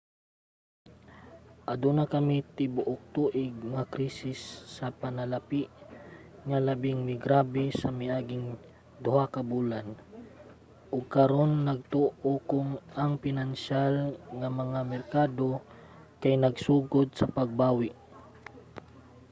aduna kami tibuok-tuig nga krisis sa panalapi nga labing migrabe sa miaging duha ka bulan ug karon nagtuo kong ang pinansyal nga mga merkado kay nagsugod na sa pagbawi.